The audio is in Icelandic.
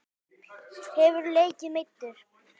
Hefurðu leikið meiddur?